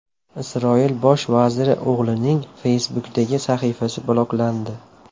Isroil bosh vaziri o‘g‘lining Facebook’dagi sahifasi bloklandi.